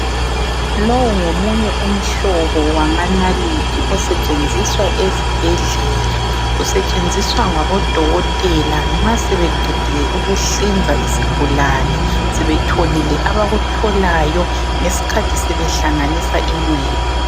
Lowu ngomunye umhlobo wamanalithi osetshenziswa ezibhedlela. Usetshenziswa ngabodokotela nxa sebeqedile ukuhlinza isigulane sebetholile abakutholayo ngesikhathi sebehlanganisa inxeba.